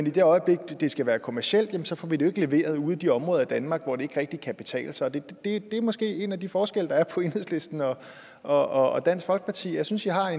i det øjeblik det skal være kommercielt får vi det ikke leveret ude i de områder af danmark hvor det ikke rigtig kan betale sig og det er måske en af de forskelle der er på enhedslisten og dansk folkeparti jeg synes i har